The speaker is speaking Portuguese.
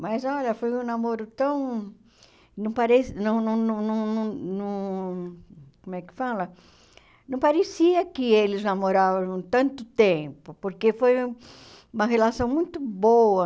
Mas olha, foi um namoro tão... não pareci não não não não não não como é que fala, não parecia que eles namoravam tanto tempo, porque foi uma relação muito boa.